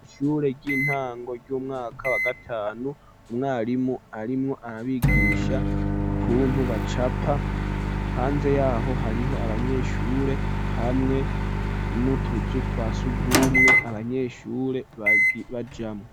ishure ry'intango ry'umwaka wa gatanu umwarimu arimwo arabigisha ukuntu bacapa hanze yaho hariho abanyeshure hamwe n'utuzu twasugumwe abanyeshure bajamwo